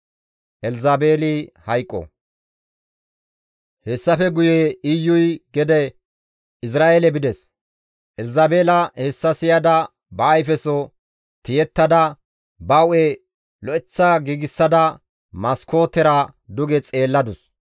Hessafe guye Iyuy gede Izra7eele bides; Elzabeela hessa siyada, ba ayfeso tiyettada, ba hu7e lo7eththa giigsada maskootera duge xeelladus.